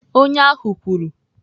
Onye ahụ kwuru.